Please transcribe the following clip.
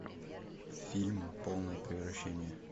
фильм полное превращение